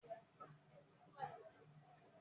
Ó ti pẹ́ tí àwọn ẹgbẹ́ olóṣèlú ti má ń lo ìwé òfin.